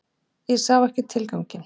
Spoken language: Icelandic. Ég sá ekki tilganginn.